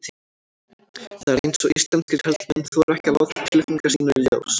Það er eins og íslenskir karlmenn þori ekki að láta tilfinningar sínar í ljós.